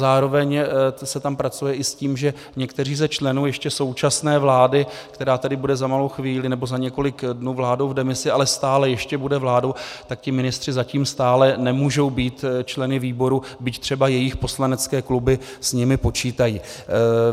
Zároveň se tam pracuje i s tím, že někteří ze členů ještě současné vlády, která tady bude za malou chvíli, nebo za několik dnů, vládou v demisi, ale stále ještě bude vládou, tak ti ministři zatím stále nemůžou být členy výborů, byť třeba jejich poslanecké kluby s nimi počítají.